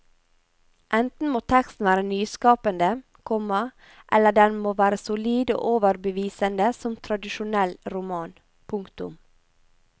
Enten må teksten være nyskapende, komma eller den må være solid og overbevisende som tradisjonell roman. punktum